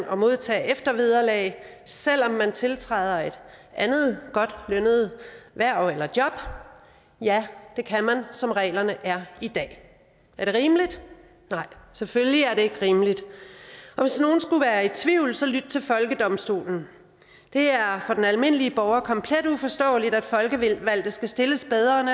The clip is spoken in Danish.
og modtage eftervederlag selv om man tiltræder et andet godt lønnet hverv eller job ja det kan man som reglerne er i dag er det rimeligt nej selvfølgelig er det ikke rimeligt og hvis nogen skulle være i tvivl så lyt til folkedomstolen det er for den almindelige borger komplet uforståeligt at folkevalgte skal stilles bedre end